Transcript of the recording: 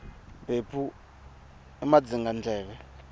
mphephu i madzingandleve